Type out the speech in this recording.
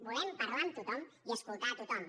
volem parlar amb tothom i escoltar tothom